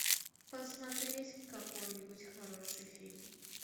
посмотреть какой нибудь хороший фильм